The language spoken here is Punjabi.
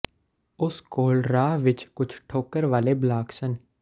ਉਸ ਕੋਲ ਰਾਹ ਵਿਚ ਕੁਝ ਠੋਕਰ ਵਾਲੇ ਬਲਾਕ ਸਨ